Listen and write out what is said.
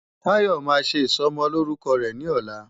Tayo máa ṣe ìsọmọlórúkọ rẹ̀ ní ọ̀la.